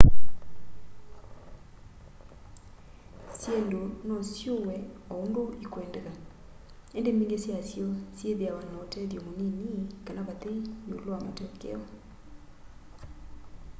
syindu no siuwe o undu ikwendeka indi mbingi syasyo syithiawa na utethyo munini kana vathei iulu wa matokeo